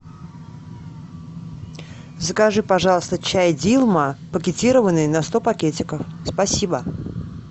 закажи пожалуйста чай дилма пакетированный на сто пакетиков спасибо